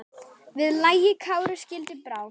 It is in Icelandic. Við lagi Kári skildi brá.